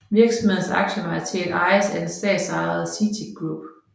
Virksomhedens aktiemajoritet ejes af det statsejede CITIC Group